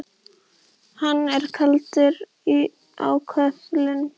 Hann er kaldur á köflum.